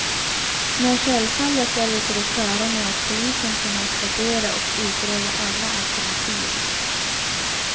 Men självfallet är vi på det klara med att polisen kommer att värdera och utreda alla alternativ.